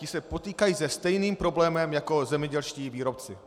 Ti se potýkají se stejným problémem jako zemědělští výrobci.